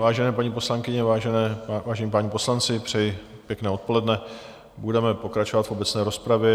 Vážené paní poslankyně, vážení páni poslanci, přeji pěkné odpoledne, budeme pokračovat v obecné rozpravě.